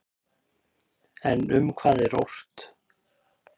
En um hvað er ort?